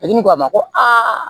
ko a ma ko a